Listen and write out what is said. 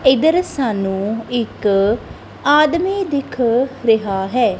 ਇਧਰ ਸਾਨੂੰ ਇੱਕ ਆਦਮੀ ਦਿਖ ਰਿਹਾ ਹੈ।